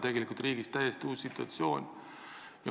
Tegelikult on riigis täiesti uus situatsioon.